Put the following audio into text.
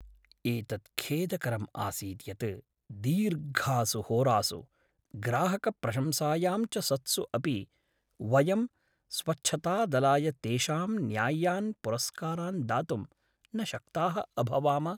एतत् खेदकरम् आसीत् यत् दीर्घासु होरासु, ग्राहकप्रशंसायां च सत्सु अपि वयं स्वच्छतादलाय तेषां न्याय्यान् पुरस्कारान् दातुं न शक्ताः अभवाम।